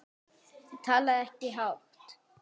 Ég talaði ekkert hátt.